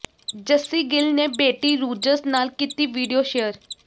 ਜੱਸੀ ਗਿੱਲ ਨੇ ਬੇਟੀ ਰੂਜਸ ਨਾਲ ਕੀਤੀ ਵੀਡੀਓ ਸ਼ੇਅਰ